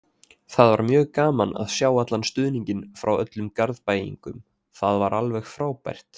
Það var mjög gaman að sjá allan stuðninginn frá öllum Garðbæingum, það var alveg frábært.